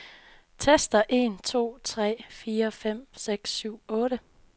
Tester en to tre fire fem seks syv otte.